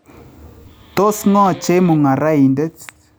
Tos ng�o chemung�araindet?